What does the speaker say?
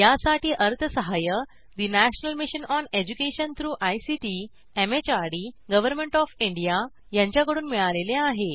यासाठी अर्थसहाय्य national mission on education through ICT MHRD government of India यांच्याकडून मिळालेले आहे